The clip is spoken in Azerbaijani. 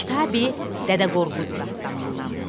Kitabi Dədə Qorqud dastanınndan.